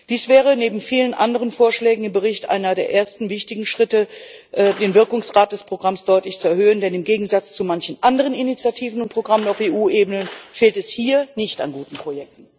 Dies wäre neben vielen anderen Vorschlägen im Bericht einer der ersten wichtigen Schritte, den Wirkungsgrad des Programms deutlich zu erhöhen, denn im Gegensatz zu manch anderen Initiativen und Programmen auf EU Ebene fehlt es hier nicht an guten Projekten.